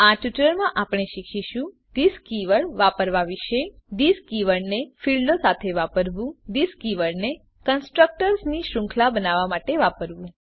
આ ટ્યુટોરીયલમાં આપણે શીખીશું થિસ કીવર્ડ વાપરવાં વિશે થિસ કીવર્ડને ફીલ્ડો સાથે વાપરવું થિસ કીવર્ડને કન્સ્ટ્રક્ટર્સ ની શૃંખલા બનાવવા માટે વાપરવું